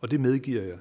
og det medgiver jeg at